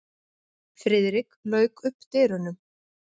Friðrik lauk upp dyrunum.